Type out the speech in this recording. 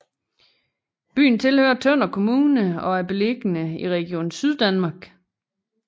Byen tilhører Tønder Kommune og er beliggende i Region Syddanmark